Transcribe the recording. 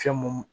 Fɛn mun